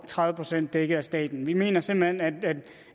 tredive procent dækket af staten vi mener simpelt hen